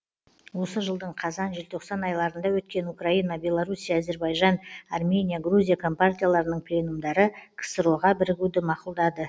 осы жылдың қазан желтоқсан айларында өткен украина белоруссия әзірбайжан армения грузия компартияларының пленумдары ксро ға бірігуді мақұлдады